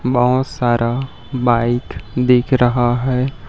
बहोत सारा बाईक दिख रहा हैं।